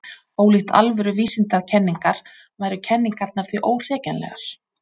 ólíkt alvöru vísindakenningar væru kenningarnar því óhrekjanlegar